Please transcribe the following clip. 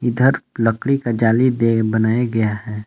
लकड़ी का जाली दे बनाया गया है।